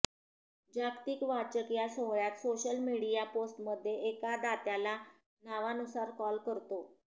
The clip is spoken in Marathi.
जागतिक वाचक या सोहळयात सोशल मीडिया पोस्टमध्ये एका दात्याला नावानुसार कॉल करतो